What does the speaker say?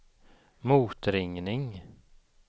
motringning